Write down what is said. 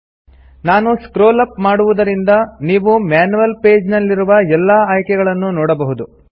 ನಾನು scroll up ಮಾಡುವುದರಿಂದ ನೀವು ಮ್ಯಾನ್ಯುಯಲ್ ಪೇಜ್ ನಲ್ಲಿರುವ ಎಲ್ಲಾ ಆಯ್ಕೆಗಳನ್ನು ನೋಡಬಹುದು